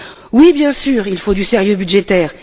Oui, bien sûr il faut du sérieux budgétaire!